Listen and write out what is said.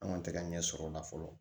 An kɔni tɛ ka ɲɛsɔrɔ o la fɔlɔ